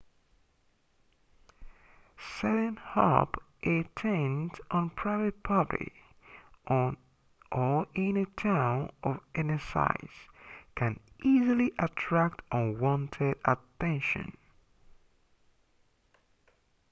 setting up a tent on private property or in a town of any size can easily attract unwanted attention